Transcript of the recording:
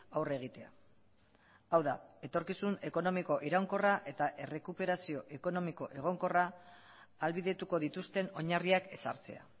aurre egitea hau da etorkizun ekonomiko iraunkorra eta errekuperazio ekonomiko egonkorra ahalbidetuko dituzten oinarriak ezartzea